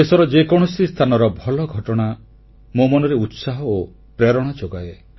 ଦେଶର ଯେକୌଣସି ସ୍ଥାନର ଭଲ ଘଟଣା ମୋ ମନରେ ଉତ୍ସାହ ଓ ପ୍ରେରଣା ଯୋଗାଏ